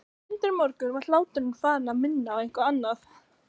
Undir morgun var hláturinn farinn að minna á eitthvað annað.